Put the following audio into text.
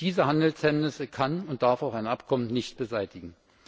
Diese Handelshemmnisse kann und darf auch ein Abkommen nicht beseitigen.